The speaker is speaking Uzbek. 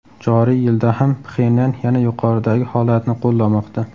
Joriy yilda ham Pxenyan yana yuqoridagi holatni qo‘llamoqda.